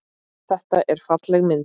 Þetta er falleg mynd.